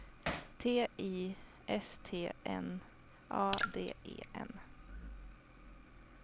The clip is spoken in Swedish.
T Y S T N A D E N